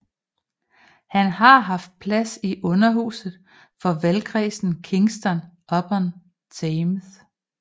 Han har haft plads i Underhuset for valgkredsen Kingston upon Thames